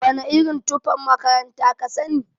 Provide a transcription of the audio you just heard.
Wana irin tufan makaranta kasani?